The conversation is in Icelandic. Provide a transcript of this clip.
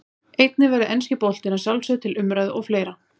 Einnig verður enski boltinn að sjálfsögðu til umræðu og fleira.